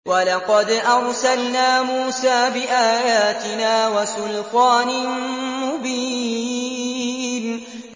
وَلَقَدْ أَرْسَلْنَا مُوسَىٰ بِآيَاتِنَا وَسُلْطَانٍ مُّبِينٍ